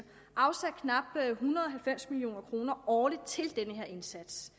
afsat knap en hundrede og halvfems million kroner årligt til denne her indsats